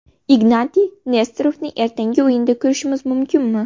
Ignatiy Nesterovni ertangi o‘yinda ko‘rishimiz mumkinmi?